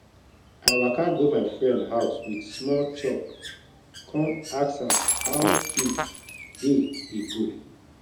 i waka go my friend house with small chop kon ask am how him day dey go